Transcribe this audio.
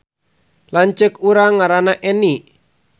Lanceuk urang ngaranna Eni